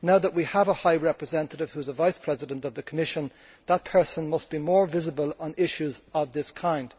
Now that we have a High Representative who is a Vice President of the Commission, that person must be more visible on issues of this kind.